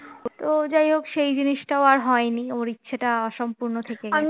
ও তো যাই হোক সেই জিনিসটা আর হয়নি ওই সেটা সম্পূর্ণ অসম্পূর্ণ থেকে গেল